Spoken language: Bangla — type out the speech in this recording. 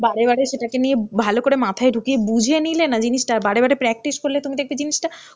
বারে বারে সেটাকে নিয়ে ভালো করে মাথায় ঢুকিয়ে বুঝে নিলে না জিনিসটা বারে বারে practice করলে তুমি দেখবে জিনিসটা